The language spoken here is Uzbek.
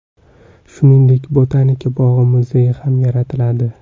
Shuningdek, botanika bog‘i muzeyi ham yaratiladi.